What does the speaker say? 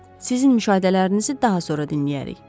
Sizin müşahidələrinizi daha sonra dinləyərik.